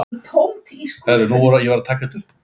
Aðeins of erfitt.